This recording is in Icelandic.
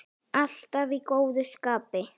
Alltaf í góðu skapi.